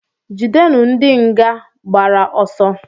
Jidenu ndị nga gbara ọsọ!